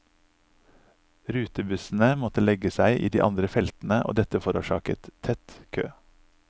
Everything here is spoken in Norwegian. Rutebussene måtte legge seg i de andre feltene og dette forårsaket tett kø.